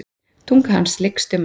Tunga hans lykst um hana.